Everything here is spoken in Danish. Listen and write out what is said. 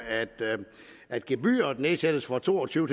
at gebyret nedsættes fra to og tyve